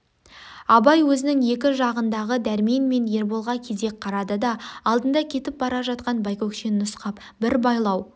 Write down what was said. абай өзінің екі жағындағы дәрмен мен ерболға кезек қарады да алдында кетіп бара жатқан байкөкшені нұсқап бір байлау